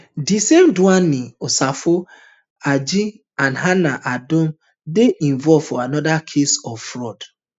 di same dwayne asafo adjei and hannah adom dey involve for anoda case of fraud